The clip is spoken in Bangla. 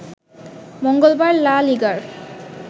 মঙ্গলবার লা লিগার